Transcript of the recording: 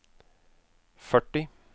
førti